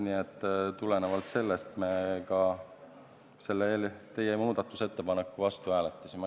Nii et tulenevalt sellest me ka selle teie muudatusettepaneku vastu hääletasime.